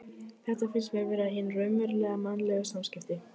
Þetta finnst mér vera hin raunverulegu mannlegu samskipti.